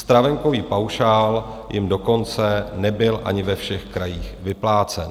Stravenkový paušál jim dokonce nebyl ani ve všech krajích vyplácen.